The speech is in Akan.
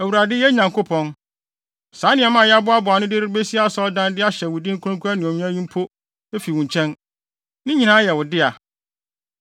Awurade, yɛn Nyankopɔn, saa nneɛma a yɛaboaboa ano de rebesi asɔredan de ahyɛ wo din kronkron anuonyam yi mpo fi wo nkyɛn! Ne nyinaa yɛ wo dea.